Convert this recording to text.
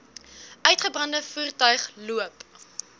uitgebrande voertuig loop